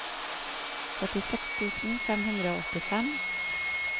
førtiseks tusen fem hundre og åttifem